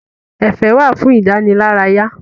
Ẹ̀fẹ̀ wà fún ìdánilárayá.